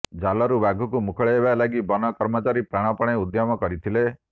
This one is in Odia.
ଜାଲରୁ ବାଘକୁ ମୁକୁଳାଇବା ଲାଗି ବନ କର୍ମଚାରୀ ପ୍ରାଣପଣେ ଉଦ୍ୟମ କରିଥିଲେ